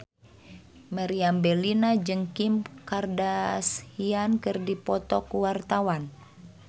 Meriam Bellina jeung Kim Kardashian keur dipoto ku wartawan